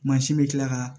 Mansin bɛ kila ka